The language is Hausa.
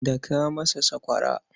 Daka masa sakwara.